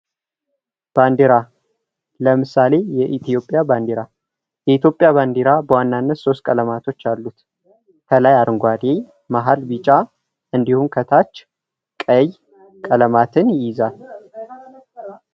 ባንዲራ ለምሳሌ የኢትዮጵያ ባንዲራ። የኢትዮጵያ ባንዲራ በዋናነት ሶሥት ቀለማቶች አሉት። ከላይ አረንጓዴ ከመሃል ቢጫ እንዲሁም ከታች ቀይ ቀለማትን ይይዛል።